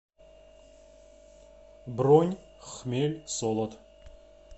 бронь хмель солод